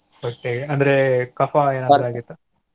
ಹೊಟ್ಟೆಗೆ ಅಂದ್ರೆ ಕಫಾ ಏನಾದ್ರೂ ಆಗಿತ್ತಾ?